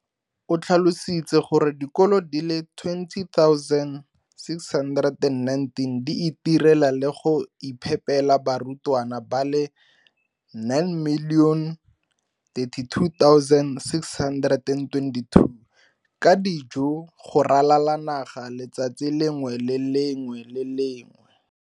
O tlhalositse gore dikolo di le 20 619 di itirela le go iphepela barutwana ba le 9 032 622 ka dijo go ralala naga letsatsi le lengwe le le lengwe.